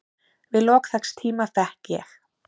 Við lok þess tíma fékk ég